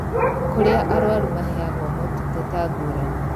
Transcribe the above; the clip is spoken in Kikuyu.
Kũrĩa arũaru maheagwo motungata ngũrani